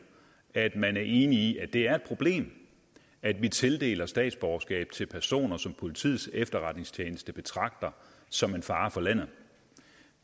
at man er enig i at det er et problem at vi tildeler statsborgerskab til personer som politiets efterretningstjeneste betragter som en fare for landet